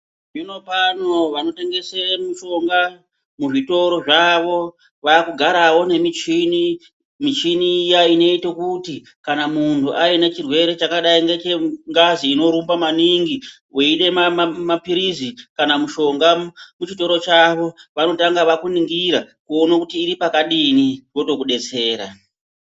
Zvino pano vano tengese mishonga mu zvitoro zvavo vaku garawo ne michini michini iya inoita kuti kana munhu aine chirwere chakadai ngeche ngazi ino rumba maningi weida mapirizi kana mushonga ku chitoro chavo vanotanga vaku ningira kuone kuti iri pakadini votoku detsera.